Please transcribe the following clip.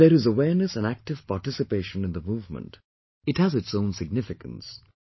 When there is awareness and active participation in the movement, it has its own significance